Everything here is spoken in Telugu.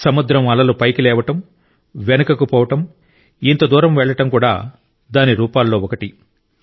సముద్రం అలలు పైకి లేవడం వెనుకకు పోవడం ఇంత దూరం వెళ్ళడం కూడా దాని రూపాల్లో ఒకటి